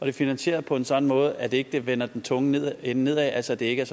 er finansieret på en sådan måde at det ikke vender den tunge ende nedad altså at det ikke er